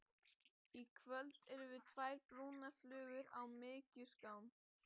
Í kvöld erum við tvær brúnar flugur á mykjuskán.